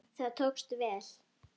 Það tókst vel.